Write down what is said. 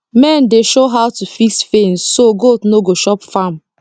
men dey show how to fix fence so goat no go chop farm